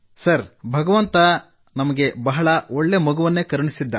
sir ಭಗವಂತ ನಮಗೆ ಬಹಳ ಒಳ್ಳೇ ಮಗುವನ್ನು ಕರುಣಿಸಿದ್ದ